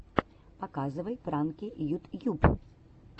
показывай пранки ютьюб